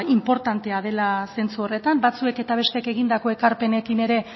inportantea dela sentsu horretan batzuek eta besteek egindako ekarpenekin ere